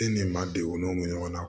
E ni maa den u n'o mi ɲɔgɔn na